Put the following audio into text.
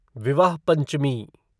विवाह पंचमी